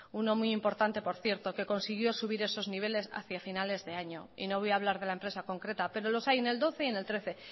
uno muy importante por cierto que consiguió subir esos niveles hacía finales de año y no voy a hablar de la empresa concreta pero los hay en dos mil doce y dos mil trece